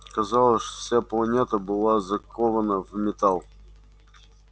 казалось вся планета была закована в металл